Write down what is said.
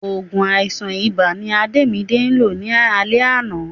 Òògùn àìsàn ibà ni Adémidé lò ní alé àná